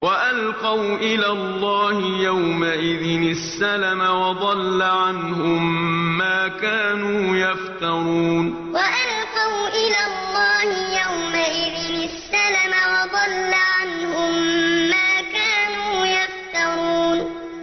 وَأَلْقَوْا إِلَى اللَّهِ يَوْمَئِذٍ السَّلَمَ ۖ وَضَلَّ عَنْهُم مَّا كَانُوا يَفْتَرُونَ وَأَلْقَوْا إِلَى اللَّهِ يَوْمَئِذٍ السَّلَمَ ۖ وَضَلَّ عَنْهُم مَّا كَانُوا يَفْتَرُونَ